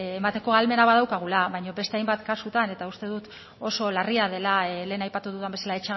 emateko ahalmena badaukagula baina beste hainbat kasutan eta uste dut oso larria dela lehen aipatu dudan bezala